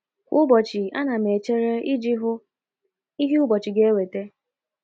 Kwa ụbọchị, ana m echere iji hụ ihe ụbọchị ga - eweta.